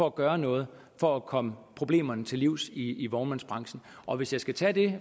at gøre noget for at komme problemerne til livs i vognmandsbranchen og hvis jeg skal tage det